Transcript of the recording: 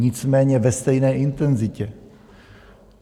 Nicméně ve stejné intenzitě.